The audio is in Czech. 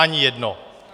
Ani jedno.